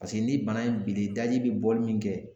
Paseke ni bana in bilen daji be bɔli min kɛ